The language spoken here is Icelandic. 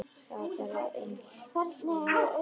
Var það bara aðeins svona?